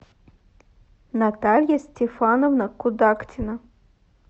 наталья стефановна кудактина